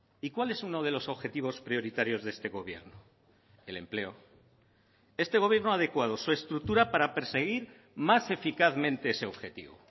y cuál es uno de los objetivos prioritarios de este gobierno el empleo este gobierno ha adecuado su estructura para perseguir más eficazmente ese objetivo